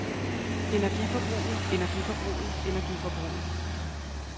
energiforbruget energiforbruget energiforbruget